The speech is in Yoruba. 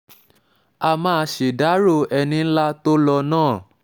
a máa ṣèdàrọ́ ṣèdàrọ́ ẹni ńlá tó lò náà